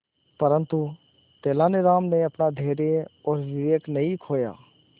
परंतु तेलानी राम ने अपना धैर्य और विवेक नहीं खोया